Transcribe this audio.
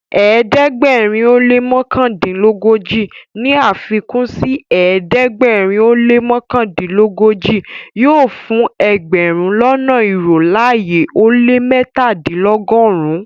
Ẹdẹgbẹ̀rin o lẹ́ mọkandinlọgọ́ji ní afikun sí ẹdẹgbẹ̀rin o lẹ́ mọkandinlọgọ́ji yóò fún ẹgbẹ̀rún lọ́nà irò ayé ó lẹ́ mẹ́tàdìnlọ́gọ́run-un.